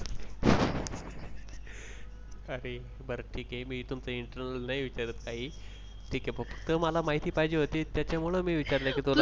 अरे बर ठीक आहे नाही विचारत काही ठीक आहे फक्त मला माहिती पाहिजे होती त्यामूळ मी विचारलं की तुला